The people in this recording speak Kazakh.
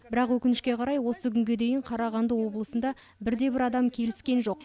бірақ өкінішке қарай осы күнге дейін қарағанды облысында бірде бір адам келіскен жоқ